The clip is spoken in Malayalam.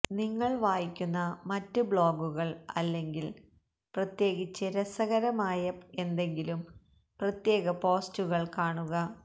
നിങ്ങൾ വായിക്കുന്ന മറ്റ് ബ്ലോഗുകൾ അല്ലെങ്കിൽ പ്രത്യേകിച്ച് രസകരമായ എന്തെങ്കിലും പ്രത്യേക പോസ്റ്റുകൾ കാണുക